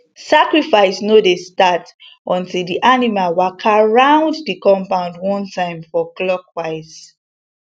sacrifice no dey start until di animal waka round di compound one time for clockwise